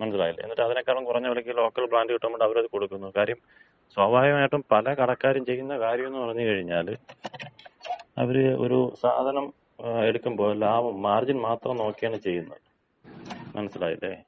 മനസ്സിലായില്ലേ? എന്നിട്ടതിനേക്കാളും കൊറഞ്ഞ വെലക്ക് ലോക്കൽ ബ്രാൻഡ് കിട്ടുംന്ന് പറഞ്ഞ് അവരത് കൊടുക്കുന്നു. കാര്യം സ്വാഭാവികമായിട്ടും പല കടക്കാരും ചെയ്യുന്ന കാര്യോന്ന് പറഞ്ഞ് കഴിഞ്ഞാല് അവര് ഒര് സാധനം എടുക്കുമ്പോ ലാഭം, മാർജിൻ മാത്രം നോക്കിയാണ് ചെയ്യുന്നത്. മനസ്സിലായില്ലേ?